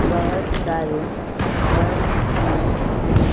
बहोत सारे घर भी हैं।